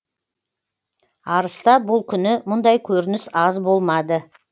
арыста бұл күні мұндай көрініс аз болмады